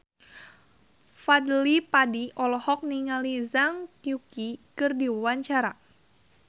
Fadly Padi olohok ningali Zhang Yuqi keur diwawancara